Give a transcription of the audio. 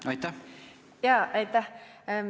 Aitäh!